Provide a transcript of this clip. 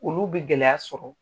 Olu bɛ gɛlɛya sɔrɔ.